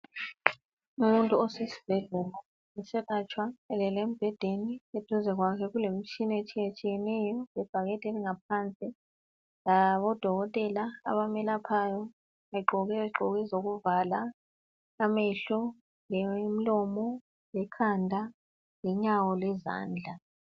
umuntu osesibhedlela eselatshwa elele embhedeni duze kwakhe kulemitshina etshiyetshiyeneyo lebhakede elingaphansi labo dokotela abamelaphayo begqoke izigqoko ezokuvala amehlo lemlomo lekhanda lenyawo lezandla